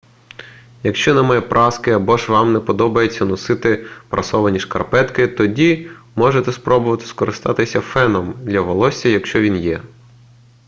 якщо немає праски або ж вам не подобається носити прасовані шкарпетки тоді можете спробувати скористатися феном для волосся якщо він є